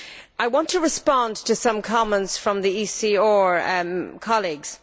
I want to respond to some comments from the ECR colleagues.